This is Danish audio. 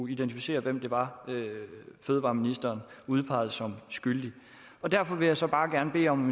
identificeres hvem det var fødevareministeren udpegede som skyldig derfor vil jeg så bare gerne bede om